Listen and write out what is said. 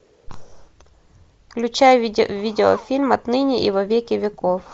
включай видеофильм отныне и во веки веков